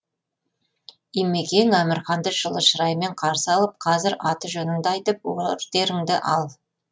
имекең әмірханды жылы шыраймен қарсы алып қазір аты жөнінді айтып ордеріңді ал